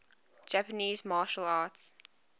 japanese martial arts